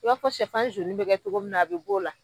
I b'a fɔ cɛfan bɛ kɛ cogo min na a be b'o la.